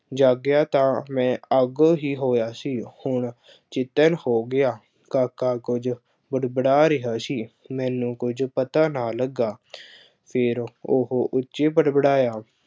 ਜਾਗਿਆ ਤਾਂ ਮੈਂ ਅੱਗੋ ਹੀ ਹੋਇਆ ਸੀ। ਹੁਣ ਜ਼ਿੱਦਣ ਹੋ ਗਿਆ। ਕਾਾਕਾ ਕੁੱਝ ਬੁੜ-ਬੜਾ ਰਿਹਾ ਸੀ। ਮੈਨੂੰ ਕੁੱਝ ਪਤਾ ਨਾ ਲੱਗਾ। ਫੇਰ ਉਹ ਉੱਚੀ ਬੁੜ-ਬੁੜਾਇਆ।